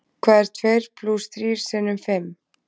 Hvað er tveir plús þrír sinnum fimm?